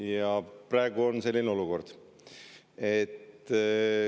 Ja praegu on selline olukord.